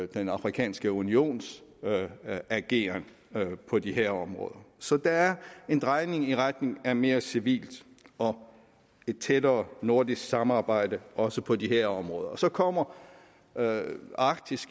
den afrikanske unions ageren på de her områder så der er en drejning i retning af et mere civilt og et tættere nordisk samarbejde også på de her områder så kommer arktis